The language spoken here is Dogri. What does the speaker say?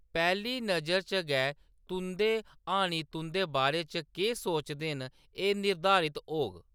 पैह्‌ली नजर च गै तुंʼदे हानी तुंʼदे बारे च केह्‌‌ सोचदे न एह्‌‌ निर्धारित होग।